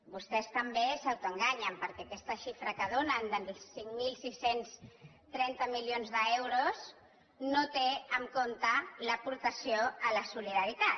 vostès també s’autoenganyen perquè aquesta xifra que donen dels cinc mil sis cents i trenta milions d’euros no té en compte l’aportació a la solidaritat